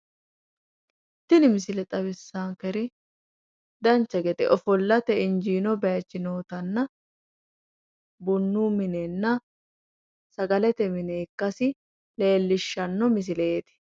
Tini misile xawissaankeri dancha gede ofollate injiino bayichi nootanna bunu minenna sagalete mine ikkasi leellishshanno misileeti.